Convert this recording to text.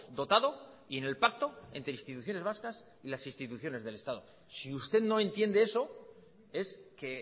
dotado y en el pacto entre instituciones vascas y las instituciones del estado si usted no entiende eso es que